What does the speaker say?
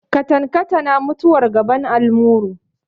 Katankatana mutuwar gaban almuru.